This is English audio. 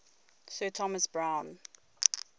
sir thomas browne